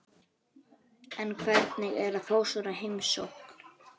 Hann ýtti á hnappa í mælaborðinu til að auka blásturinn.